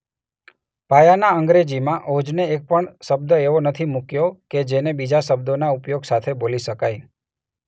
પાયાના અંગ્રેજીમાં ઓજને એક પણ શબ્દ એવો નથી મૂક્યો કે જેને બીજા શબ્દોના ઉપયોગ સાથે બોલી શકાય.